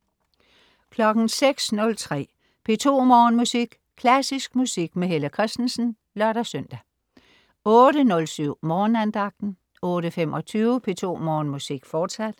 06.03 P2 Morgenmusik. Klassisk musik med Helle Kristensen (lør-søn) 08.07 Morgenandagten 08.25 P2 Morgenmusik, fortsat